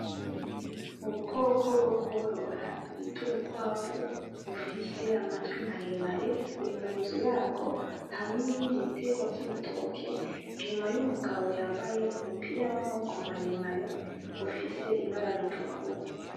Ubukoko bwo korora bit'ubukwavu, bufise amatwi maremare, buri mu nzu yabwo, hamwe n'ibindi bitegwa vy'ibitoke inyuma y'umugabo yambaye umupira w'amaboko maremare, ufise ibara ritukura.